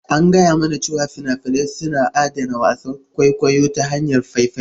An gaya mana cewa fina-finai suna adana wasan kwaikwayo ta hanyar faifai.